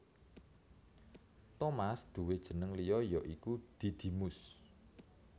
Tomas duwé jeneng liya ya iku Didimus